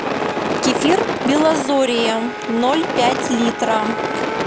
кефир белозорье ноль пять литра